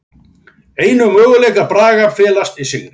Einu möguleikar Braga felast í sigri